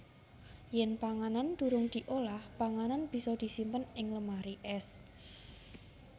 Yèn panganan durung diolah panganan bisa disimpen ing lemari ès